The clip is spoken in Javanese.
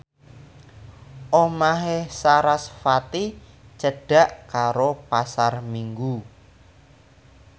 omahe sarasvati cedhak karo Pasar Minggu